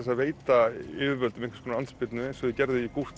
að veita yfirvöldum einhvers konar andspyrnu eins og þeir gerðu í